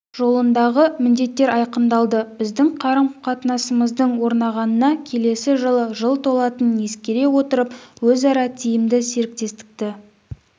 жолындағы міндеттер айқындалды біздің қарым-қатынасымыздың орнағанына келесі жылы жыл толатынын ескере отырып өзара тиімді серіктестікті